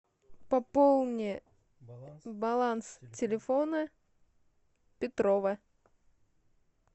пополни баланс телефона петрова